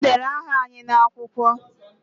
Ha dere aha anyị n'akwụkwọ